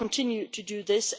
We will continue to do